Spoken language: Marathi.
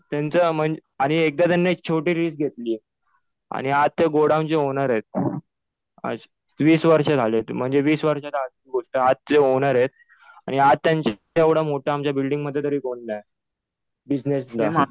त्यांचं म्हणजे आणि एकदा त्यांनी एक छोटी रिस्क घेतली. आणि आज ते गोडाऊनचे ओनर आहेत. असं वीस वर्ष झाले. म्हणजे वीस वर्षाच्या आधीची गोष्ट. आज जे ओनर आहेत आणि त्यांच्या इतकं मोठं आमच्या बिल्डिंगमध्ये तरी कुणी नाही बिजनेसमन.